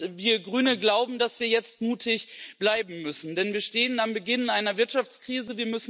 Und wir Grünen glauben, dass wir jetzt mutig bleiben müssen, denn wir stehen am Beginn einer Wirtschaftskrise.